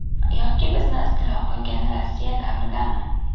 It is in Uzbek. Yoki bizni istilo qilgan Rossiya davridami?